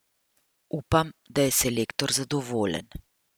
Upam, da je selektor zadovoljen.